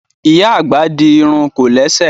Ìyá àgbà di irun kòlẹ́sẹ̀